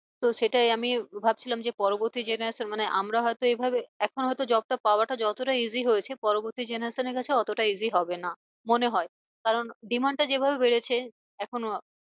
তো সেটাই আমি ভাবছিলাম যে পরবর্তী generation মানে আমরা হয় তো এ ভাবে এখন হয় তো job টা পাওয়াটা যতটা easy হয়েছে, পরবর্তী generation এর কাছে অতটা easy হবে না মনে হয়। কারণ demand টা যেভাবে বেড়েছে এখন আহ